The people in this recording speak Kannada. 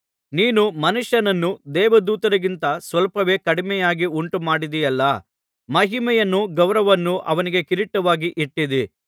ನೀನು ಮನುಷ್ಯನನ್ನು ದೇವದೂತರಿಗಿಂತ ಸ್ವಲ್ಪವೇ ಕಡಿಮೆಯಾಗಿ ಉಂಟುಮಾಡಿದ್ದಿಯಲ್ಲಾ ಮಹಿಮೆಯನ್ನೂ ಗೌರವವನ್ನೂ ಅವನಿಗೆ ಕಿರೀಟವಾಗಿ ಇಟ್ಟಿದ್ದೀ